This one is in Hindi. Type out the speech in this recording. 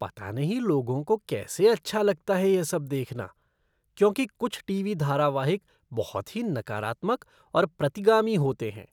पता नहीं लोगों को कैसे अच्छा लगता है यह सब देखना क्योंकि कुछ टीवी धारावाहिक बहुत ही नकारात्मक और प्रतिगामी होते हैं।